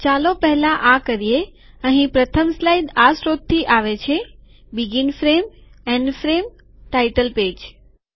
ચાલો પહેલા આ કરીએ અહીં પ્રથમ સ્લાઇડ આ સ્ત્રોતથી આવે છે શરૂઆતની ફ્રેમ છેવટની ફ્રેમ શીર્ષક પૃષ્ઠ